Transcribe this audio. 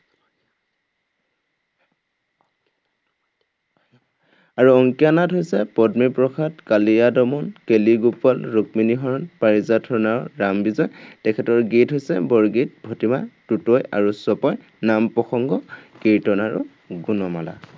আৰু অংকীয়া নাট হৈছে, পত্নীপ্ৰসাদ, কালিদমন, কেলিগোপাল, ৰুক্মিণীহৰণ, পাৰিজাত হৰণ আৰু ৰামবিজয়। তেখেতৰ গীত হৈছে বৰগীত, ভটিমা, টোটয় আৰু চপয়, নাম প্ৰসঙ্গ, কীৰ্তন আৰু গুণমালা।